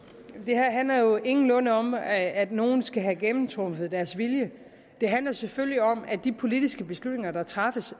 det her handler jo ingenlunde om at nogle skal have gennemtrumfet deres vilje det handler selvfølgelig om at de politiske beslutninger der træffes